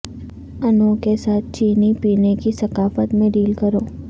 انوں کے ساتھ چینی پینے کی ثقافت میں ڈیل کرو